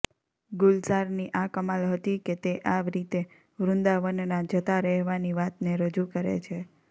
ગુલઝારની આ કમાલ હતી કે તે આ રીતે વૃંદાવનના જતા રહેવાની વાતને રજૂ કરે છે